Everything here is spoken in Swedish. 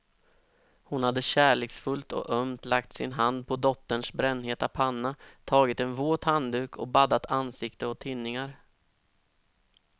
Hon hade kärleksfullt och ömt lagt sin hand på dotterns brännheta panna, tagit en våt handduk och baddat ansikte och tinningar.